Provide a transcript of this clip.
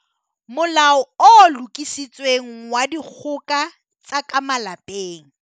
Molao o Lokisitsweng wa Dikgoka tsa ka Malapeng.